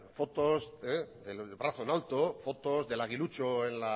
fotos del brazo en alto fotos del aguilucho en